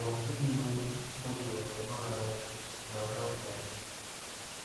Ma ọ dịghị onye o doro nnọọ anya na ha dị adị.